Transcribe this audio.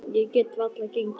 Ég get varla gengið.